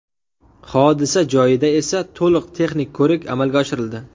Hodisa joyida esa to‘liq texnik ko‘rik amalga oshirildi.